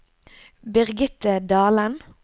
Birgitte Dahlen